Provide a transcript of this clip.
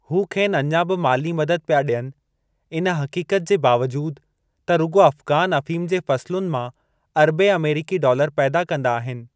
हू खेनि अञा बि माली मदद पिया ॾियनि, इन हक़ीक़त जे बावजूदु त रुॻो अफ़गान अफ़ीम जी फ़सलुनि मां अरबे अमेरीकी डालर पैदा कंदा आहिनि।